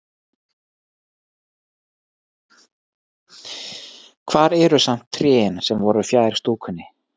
Hvar eru samt trén sem voru fjær stúkunni?